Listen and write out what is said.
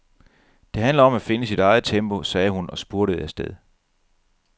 Det handler om at finde sit eget tempo, sagde hun og spurtede afsted.